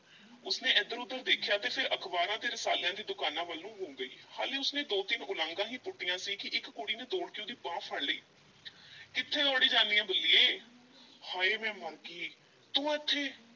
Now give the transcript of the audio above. ਉਸ ਨੇ ਇੱਧਰ-ਉੱਧਰ ਦੇਖਿਆ ਤੇ ਫਿਰ ਅਖ਼ਬਾਰਾਂ ਤੇ ਰਿਸਾਲਿਆਂ ਦੀ ਦੁਕਾਨ ਵੱਲ ਨੂੰ ਹੋ ਗਈ, ਹਾਲੀ ਉਸ ਨੇ ਦੋ-ਤਿੰਨ ਉਲਾਂਘਾਂ ਈ ਪੁੱਟੀਆਂ ਸੀ ਕਿ ਇੱਕ ਕੁੜੀ ਨੇ ਦੌੜ ਕੇ ਉਹਦੀ ਬਾਂਹ ਫੜ ਲਈ ਕਿੱਥੇ ਦੌੜੀ ਜਾਨੀ ਏਂ ਬੱਲੀਏ, ਹਾਏ ਮੈਂ ਮਰ ਗਈ ਤੂੰ ਏਥੇ।